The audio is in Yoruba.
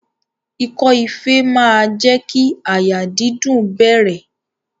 Ikọ́ ife máa jẹ́ kí àyà dídùn bẹ̀rẹ̀.